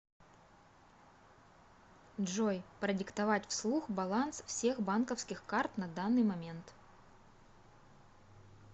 джой продиктовать вслух баланс всех банковских карт на данный момент